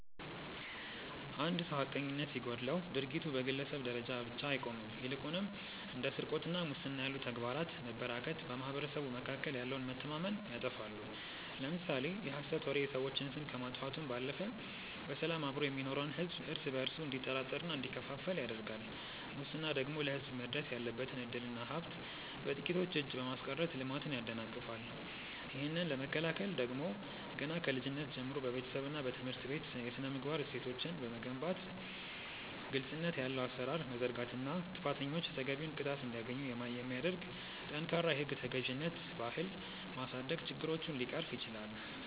አንድ ሰው ሐቀኝነት ሲጎድለው ድርጊቱ በግለሰብ ደረጃ ብቻ አይቆምም ይልቁንም እንደ ስርቆትና ሙስና ያሉ ተግባራት መበራከት በማኅበረሰቡ መካከል ያለውን መተማመን ያጠፋሉ። ለምሳሌ የሐሰት ወሬ የሰዎችን ስም ከማጥፋቱም ባለፈ በሰላም አብሮ የሚኖረውን ሕዝብ እርስ በእርሱ እንዲጠራጠርና እንዲከፋፈል ያደርጋል ሙስና ደግሞ ለሕዝብ መድረስ ያለበትን ዕድልና ሀብት በጥቂቶች እጅ በማስቀረት ልማትን ያደናቅፋል። ይህንን ለመከላከል ደግሞ ገና ከልጅነት ጀምሮ በቤተሰብና በትምህርት ቤት የሥነ-ምግባር እሴቶችን መገንባት ግልጽነት ያለው አሠራር መዘርጋትና ጥፋተኞች ተገቢውን ቅጣት እንዲያገኙ የሚያደርግ ጠንካራ የሕግ ተገዥነት ባህል ማሳደግ ችግሮችን ሊቀርፍ ይችላል።